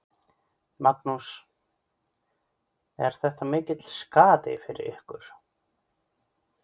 Magnús: Er þetta mikill skaði fyrir ykkur?